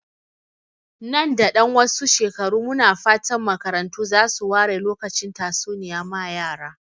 Nan da ɗan wasu shekaru, muna fatan makarantu za su ware lokacin tatsuniya ma yara.